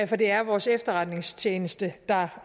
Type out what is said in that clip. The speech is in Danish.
for det er vores efterretningstjeneste der